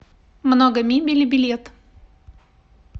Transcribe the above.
много мебели билет